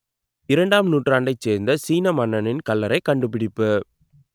இரண்டாம் நூற்றாண்டைச் சேர்ந்த சீன மன்னனின் கல்லறை கண்டுபிடிப்பு